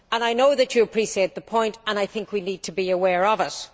I know that you appreciate the point and I think we need to be aware of it.